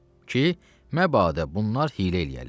Ki, məbədə bunlar hiylə eləyərlər.